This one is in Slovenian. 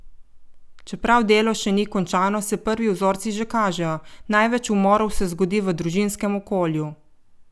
Čeprav delo še ni končano, se prvi vzorci že kažejo: "Največ umorov se zgodi v družinskem okolju.